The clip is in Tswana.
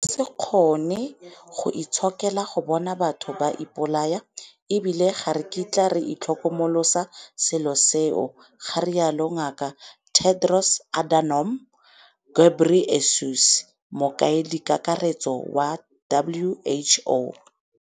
"Re ka se kgone go itshokela go bona batho ba ipolaya - e bile ga re kitla re itlhokomolosa selo seo," ga rialo Ngaka Tedros Adhanom Ghebrey esus, Mokaedikakaretso wa WHO.